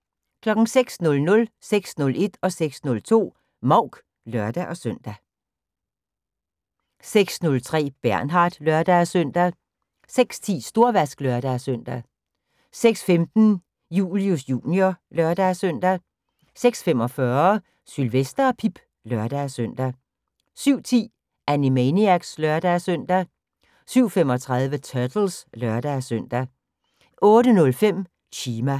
06:00: Mouk (lør-søn) 06:01: Mouk (lør-søn) 06:02: Mouk (lør-søn) 06:03: Bernard (lør-søn) 06:10: Storvask (lør-søn) 06:15: Julius Jr. (lør-søn) 06:45: Sylvester og Pip (lør-søn) 07:10: Animaniacs (lør-søn) 07:35: Turtles (lør-søn) 08:05: Chima